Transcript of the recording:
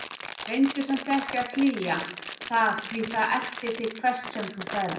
Reyndu samt ekki að flýja það því það eltir þig hvert sem þú ferð.